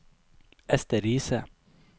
Ester Riise